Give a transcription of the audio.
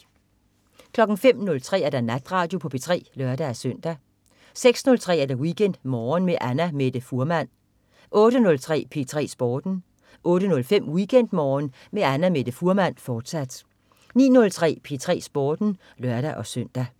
05.03 Natradio på P3 (lør-søn) 06.03 WeekendMorgen med Annamette Fuhrmann 08.03 P3 Sporten 08.05 WeekendMorgen med Annamette Fuhrmann, fortsat 09.03 P3 Sporten (lør-søn)